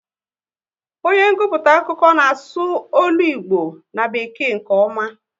Onye nguputa akụkọ n'asu ọlụ Igbo na bekee nke ọma